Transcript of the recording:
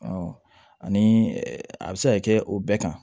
ani a bɛ se ka kɛ o bɛɛ kan